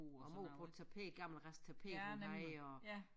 Og mor på et tapet gammel rest tapet hun havde og